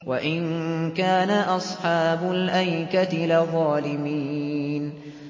وَإِن كَانَ أَصْحَابُ الْأَيْكَةِ لَظَالِمِينَ